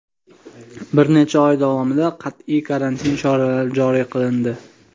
bir necha oy davomida qat’iy karantin cheklovlari joriy qilindi.